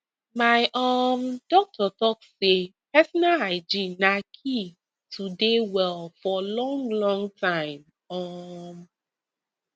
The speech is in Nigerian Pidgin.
my um doctor talk say personal hygiene na key to dey well for long long time um